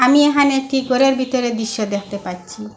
আমি এহানে একটি গরের বিতরের দৃশ্য দেখতে পাচ্ছি।